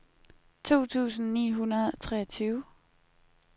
to tusind ni hundrede og treogtyve